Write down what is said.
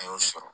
A y'o sɔrɔ